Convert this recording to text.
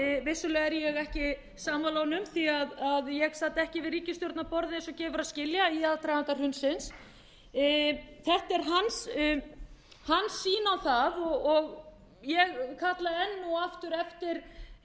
vissulega er ég ekki sammála honum því ég sat ekki við ríkisstjórnarborð eins og gefur að skilja í aðdraganda hrunsins þetta er hans sýn á það og ég kalla enn og aftur eftir